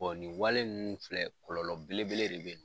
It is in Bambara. ni wale nunnu filɛ kɔlɔlɔ belebele de bɛ